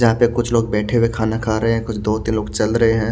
जहाँ तक कुछ लोग बेठे हुए खाना खा रहे हे कुछ दो तीन लोग चल रहे हैं।